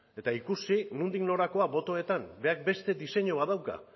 eta ikusi nondik norakoa botoetan berak beste deseinua bat dauka